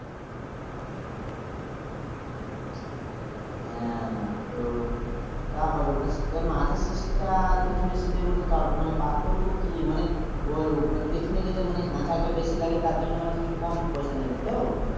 হ্যাঁ তো তা ভালো মাঝের seat টা পিছনের seat মধ্যে তো পার্থক্য কি ঐ মানে পিছনে যে টা হ্যাচাল টা বেশি লাগে তার জন্য মানে কম পয়সা নেবে তো